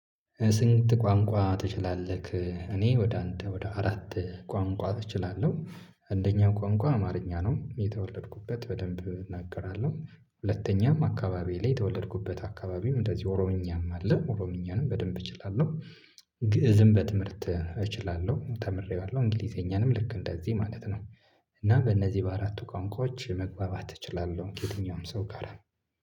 ስንት ቋንቋ ትችላለህ? እኔ ወደ አንድ ወደ አራት ቋንቋ እችላለሁ። አንደኛ ቋንቋ አማርኛ ነው የተወለድኩበት በደንብ እናገራለሁ ሁለተኛም አካባቢ ላይ የተወለድኩበት አካባቢም እንደዚህ ኦሮምኛም አለ ኦሮምኛንም በደንብ እችላለሁ። ግእዝም በትምህርት እችላለሁ ተምሬዋለሁ እንግሊዘኛንም ልክ እንደዚህ ማለት ነው። እና በእነዚህ በአራቱ ቋንቋዎች መግባባት እችላለሁ ከየትኛውም ሰው ጋር ነው።